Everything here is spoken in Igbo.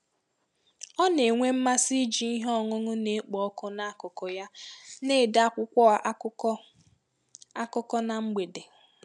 Ọ na-enwe mmasị iji ihe ọṅụṅụ na-ekpo ọkụ n'akụkụ ya na-ede akwụkwọ akụkọ akụkọ na mgbede.